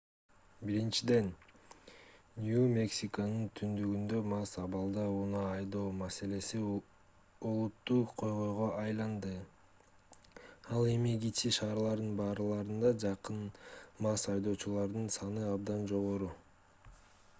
биричиден нью-мексиконун түндүгүндө мас абалда унаа айдоо маселеси олуттуу көйгөйгө айланды ал эми кичи шаарлардын барларына жакын мас айдоочулардын саны абдан жогору